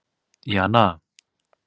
Jana